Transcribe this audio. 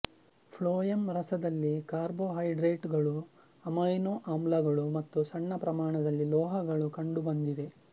phloem ರಸದಲ್ಲಿ ಕಾರ್ಬೊಹೈಡ್ರೇಟುಗಳು amino ಆಮ್ಲಗಳು ಮತ್ತು ಸಣ್ಣ ಪ್ರಮಾಣದಲ್ಲಿ ಲೋಹಗಳು ಕಂಡುಬಂದಿವೆ